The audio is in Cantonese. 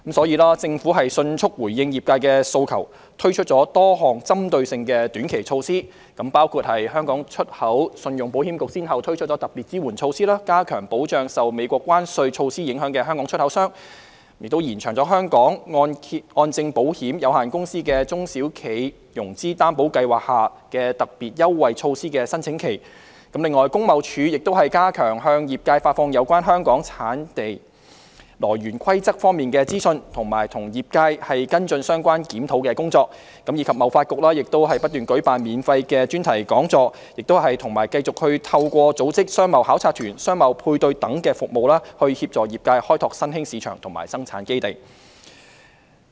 因此，政府迅速回應業界訴求，推出多項針對性的短期措施，包括：香港出口信用保險局先後推出特別支援措施，加強保障受美國關稅措施影響的香港出口商；延長香港按證保險有限公司的"中小企融資擔保計劃"下的特別優惠措施的申請期；工業貿易署加強向業界發放有關香港產地來源規則方面的資訊，並與業界跟進相關檢討工作；及香港貿易發展局不斷舉辦免費專題講座，亦繼續透過組織商貿考察團、商貿配對服務等，協助業界開拓新興市場及生產基地。